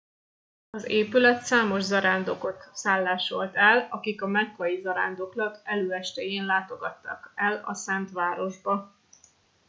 az épület számos zarándokot szállásolt el akik a mekkai zarándoklat előestéjén látogattak el a szent városba